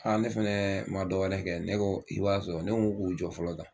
Ne fɛnɛ ma dɔ wɛrɛ kɛ ne ko i b'a sɔrɔ, ne ko k'u jɔ fɔlɔ tan